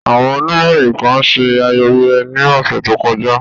Awọn oniroyin kan ṣe ayẹyẹ ni ọsẹ to kọja.